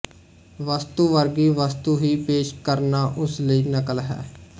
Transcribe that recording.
ਵਸਤੂ ਵਰਗੀ ਵਸਤੂ ਹੀ ਪੇਸ਼ ਕਰਨਾ ਉਸ ਲਈ ਨਕਲ ਹੈ